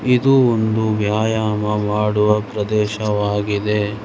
ಇದು ಒಂದು ವ್ಯಾಯಾಮ ಮಾಡುವ ಪ್ರದೇಶವಾಗಿದೆ.